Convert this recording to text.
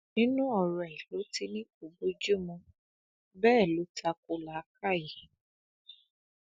nínú ọrọ ẹ ló ti ní kò bojumu bẹ́ẹ̀ ló tako làákàyè